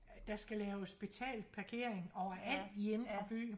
Der skal laves betalt parkering overalt i indre by